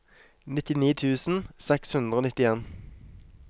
nittini tusen seks hundre og nittien